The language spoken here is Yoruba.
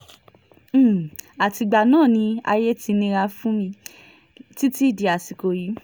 um àtìgbà náà ni ayé ti nira fún um mi títí dàsìkò yìí